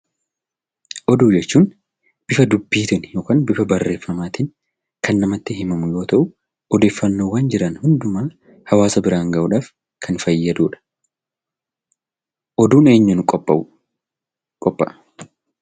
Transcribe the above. Oduu jechuun bifa dubbiitiin yookaan bifa barreeffamaatiin kan namatti himamu yoo ta'u, odeeffannoowwan jiran hundumaa hawaasa biraan ga'uudhaaf kan fayyaduu dha. Oduun eenyuun qophaa'u qophaa'a?